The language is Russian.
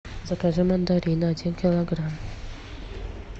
закажи мандарины один килограмм